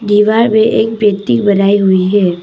दीवार में एक पेंटिंग बनाई हुई है।